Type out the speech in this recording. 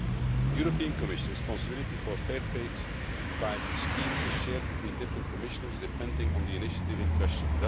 In the Commission, responsibility for Fair Trade type schemes is shared between different Commissioners depending on the initiative in question.